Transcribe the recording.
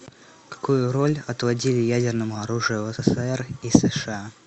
какую роль отводили ядерному оружию в ссср и сша